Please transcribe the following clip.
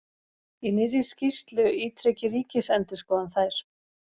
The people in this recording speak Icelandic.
Í nýrri skýrslu ítreki Ríkisendurskoðun þær